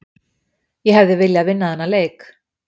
Ég hefði viljað vinna þennan leik